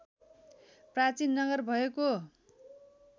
प्राचीन नगर भएको